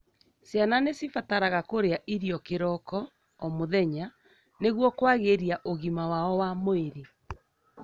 Ciana nĩcibataraga kũrĩa irio kĩroko o muthenya nĩguo kwagiria ũgima wao wa mwĩrĩ.